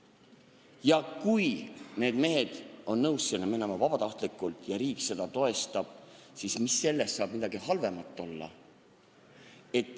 Ja kui need mehed on nõus vabatahtlikult sinna minema ja riik seda toetab, siis mis selles saab halba olla.